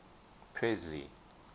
presley